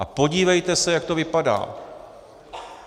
A podívejte se, jak to vypadá.